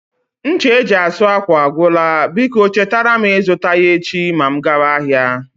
Ncha eji asụ ákwà agwụla, biko chetara m ịzụta ya echi ma m gaba ahịa